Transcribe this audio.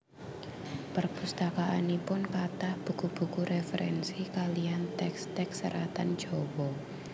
Perpustakaanipun kathah buku buku referensi kalian teks teks seratan Jawa